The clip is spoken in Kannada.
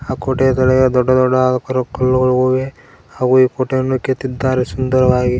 ಅ ಕೋಟೆಯದೊಳಗೆ ದೊಡ್ಡ ಕರು- ಕಲ್ಲುಗಳಿವೆ ಹಾಗೂ ಈ ಕೋಟೆಯನ್ನು ಕೆತ್ತಿದ್ದಾರೆ ಸುಂದರವಾಗಿ.